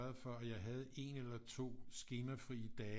For at jeg havde én eller 2 skemafri dage